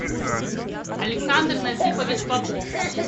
александр назипович попов